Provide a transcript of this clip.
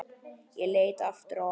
Ég leit aftur á hana.